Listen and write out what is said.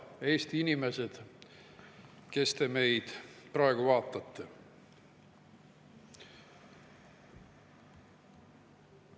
Head Eesti inimesed, kes te meid praegu vaatate!